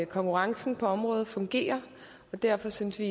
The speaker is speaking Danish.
konkurrencen på området fungerer og derfor synes vi